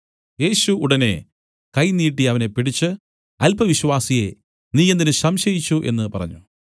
യേശു ഉടനെ കൈ നീട്ടി അവനെ പിടിച്ച് അല്പവിശ്വാസിയേ നീ എന്തിന് സംശയിച്ചു എന്നു പറഞ്ഞു